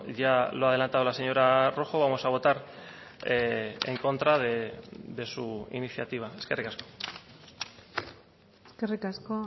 ya lo ha adelantado la señora rojo vamos a votar en contra de su iniciativa eskerrik asko eskerrik asko